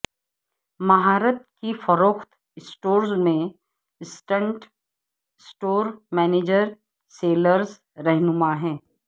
مہارت کی فروخت اسٹور میں اسسٹنٹ سٹور مینیجر سیلز رہنما ہے